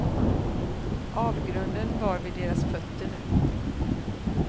Avgrunden var vid deras fötter nu.